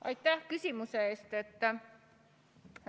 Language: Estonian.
Aitäh küsimuse eest!